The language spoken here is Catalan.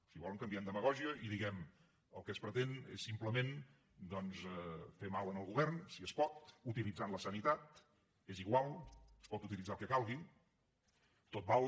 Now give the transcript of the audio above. si volen canviem demagògia i diem el que es pretén és simplement doncs fer mal al govern si es pot utilitzant la sanitat és igual es pot utilitzar el que calgui tot val